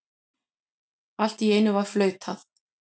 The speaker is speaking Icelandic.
Allt í einu var flautað.